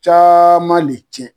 Caman le cɛn